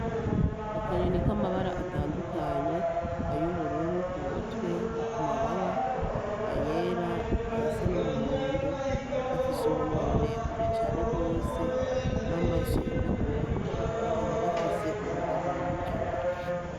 Akanyoni kamabara atandukanye ayubururu Kumutwe no kumababa ayera ayasa numuhondo gafise umunwa muremure cane gose namaso yirabura kakaba gafise urudagara mukanwa.